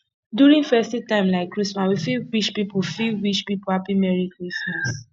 during festive time like christmas we fit wish pipo fit wish pipo happy merry christmas